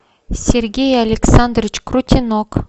сергей александрович крутенок